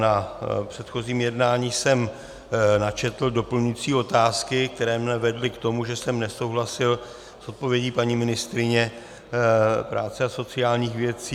Na předchozím jednání jsem načetl doplňující otázky, které mne vedly k tomu, že jsem nesouhlasil s odpovědí paní ministryně práce a sociálních věcí.